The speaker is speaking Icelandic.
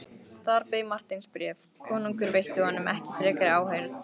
Þar beið Marteins bréf, konungur veitti honum ekki frekari áheyrn.